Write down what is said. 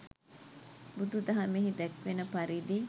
බුදුදහමෙහි දැක්වෙන පරිදි